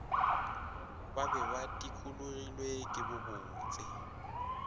ba be ba dikologilwe kebobotse